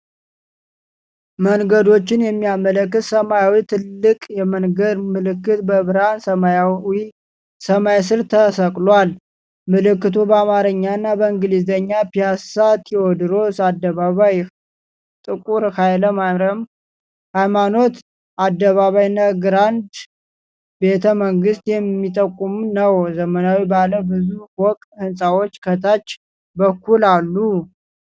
መንገዶችን የሚያመለክት ሰማያዊ ትልቅ የመንገድ ምልክት በብርሃን ሰማያዊ ሰማይ ስር ተሰቅሏል። ምልክቱ በአማርኛና በእንግሊዝኛ 'ፒያሳ'፣ 'ቴዎድሮስ አደባባይ'፣ 'ጥ/ኃይማኖት አደባባይ' እና 'ግራንድ ቤተመንግስት'ን የሚጠቁም ነው። ዘመናዊ ባለ ብዙ ፎቅ ሕንፃዎች ከታች በኩል አሉ።